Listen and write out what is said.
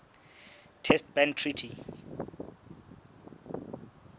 test ban treaty